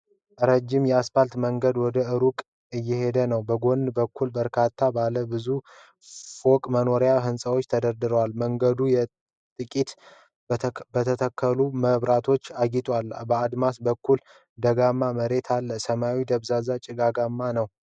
ረዥም የአስፓልት መንገድ ወደ ሩቅ እየሄደ ነው። በጎን በኩል በርካታ ባለ ብዙ ፎቅ መኖሪያ ህንፃዎች ተደርድረዋል። መንገዱ በየጥቂቱ በተተከሉ መብራቶች አጊጧል። በአድማስ በኩል ደጋማ መሬት አለ። ሰማዩ ደብዛዛና ጭጋጋማ ነው።